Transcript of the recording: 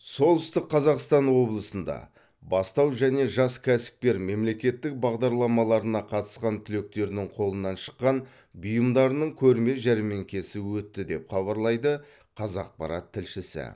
солтүстік қазақстан облысында бастау және жас кәсіпкер мемлекеттік бағдарламаларына қатысқан түлектердің қолынан шыққан бұйымдарының көрме жәрмеңкесі өтті деп хабарлайды қазақпарат тілшісі